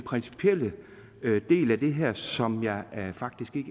principielle del af det her som jeg faktisk ikke